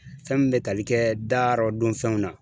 Fɛn min bɛ tali kɛ da rɔ dun fɛnw na.